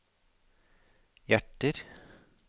hjerter